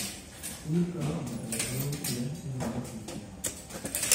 Hilibka lo'da ayaa awood u leh inuu dakhli keeno.